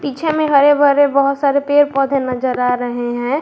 पीछे में हरे भरे बहुत सारे पेड़ पौधे नजर आ रहे हैं।